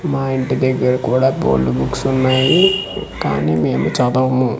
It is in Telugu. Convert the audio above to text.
మా ఇంటి దగ్గర కూడ బోల్డు బుక్స్ వున్నాయి కానీ మేము చదవము.